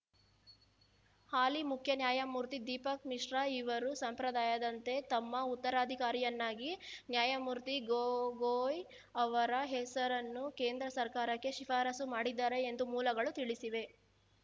ಹಾಲಿ ಮುಖ್ಯ ನ್ಯಾಯಮೂರ್ತಿ ದೀಪಕ್‌ ಮಿಶ್ರಾಇವರು ಸಂಪ್ರದಾಯದಂತೆ ತಮ್ಮ ಉತ್ತರಾಧಿಕಾರಿಯನ್ನಾಗಿ ನ್ಯಾಯ ಮೂರ್ತಿ ಗೊಗೊಯ್‌ ಅವರ ಹೆಸರನ್ನು ಕೇಂದ್ರ ಸರ್ಕಾರಕ್ಕೆ ಶಿಫಾರಸು ಮಾಡಿದ್ದಾರೆ ಎಂದು ಮೂಲಗಳು ತಿಳಿಸಿವೆ